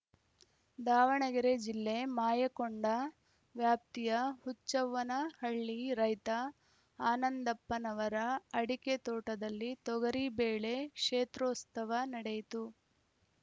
ದಾವಣಗೆರೆ ಜಿಲ್ಲೆ ಮಾಯಕೊಂಡ ವ್ಯಾಪ್ತಿಯ ಹುಚ್ಚವ್ವನಹಳ್ಳಿ ರೈತ ಆನಂದಪ್ಪನವರ ಅಡಿಕೆ ತೋಟದಲ್ಲಿ ತೊಗರಿ ಬೆಳೆ ಕ್ಷೇತ್ರೋತ್ಸವ ನಡೆಯಿತು